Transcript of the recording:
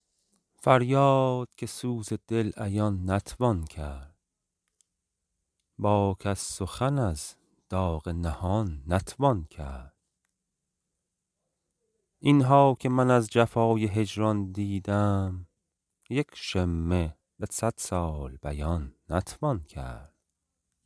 فریاد که سوز دل عیان نتوان کرد با کس سخن از داغ نهان نتوان کرد اینها که من از جفای هجران دیدم یک شمه به صد سال بیان نتوان کرد